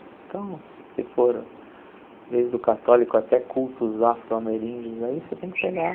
Então se for desde o católico até cultos afro-ameríndios aí você tem que pegar.